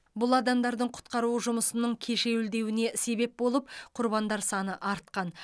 бұл адамдардың құтқару жұмысының кешеуілдеуіне себеп болып құрбандар саны артқан